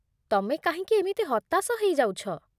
ତମେ କାହିଁକ ଏମିତି ହତାଶ ହେଇଯାଉଛ?